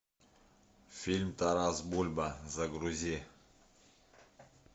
фильм тарас бульба загрузи